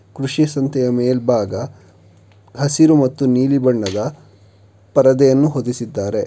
ಕೃಷಿ ಸಂತೆಯ ಮೇಲ್ಭಾಗ ಹಸಿರು ಮತ್ತು ನೀಲಿ ಬಣ್ಣದ ಪರದೆಯನ್ನು ಹೊದಿಸಿದ್ದಾರೆ.